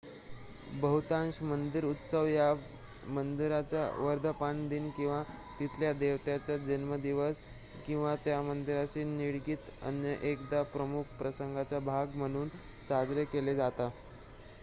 बहुतांश मंदिर उत्सव त्या मंदिराचा वर्धनपान दिन किंवा तिथल्या देवतेचा जन्मदिवस किंवा त्या मंदिराशी निगडीत अन्य एखादा प्रमुख प्रसंगाचा भाग म्हणून साजरे केले जातात